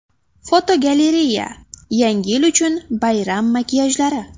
Fotogalereya: Yangi yil uchun bayram makiyajlari.